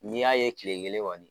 N'i y'a ye kile kelen kɔni